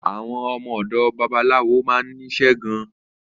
Àwọn ọmọ òdò babaláwo ma nísé gan